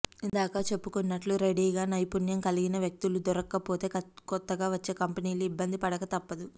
ఇందాక చెప్పుకున్నట్టు రెడీగా నైపుణ్యం కలిగిన వ్యక్తులు దొరక్కపోతే కొత్తగా వచ్చే కంపెనీలు ఇబ్బంది పడక తప్పదు